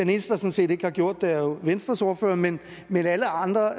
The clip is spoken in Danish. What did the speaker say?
der sådan set ikke har gjort det er jo venstres ordfører men men alle andre